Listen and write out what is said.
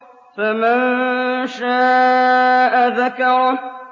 فَمَن شَاءَ ذَكَرَهُ